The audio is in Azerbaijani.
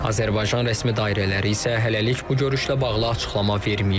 Azərbaycan rəsmi dairələri isə hələlik bu görüşlə bağlı açıqlama verməyib.